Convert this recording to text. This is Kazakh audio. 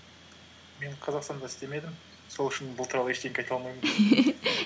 мен қазақстанда істемедім сол үшін бұл туралы ештеңе айта алмаймын